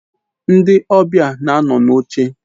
Ndi obia na ano n'oche